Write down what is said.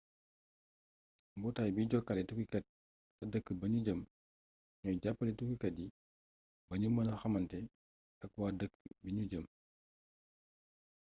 mbootaay bi jokkale tukkikat ca dëkk ba ñu jëm ñooy jàppale tukkikat yi ba ñu mëna xamante ak waa dëkk bi ñu jëm